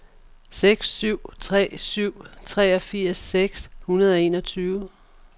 seks syv tre syv treogfirs seks hundrede og enogtyve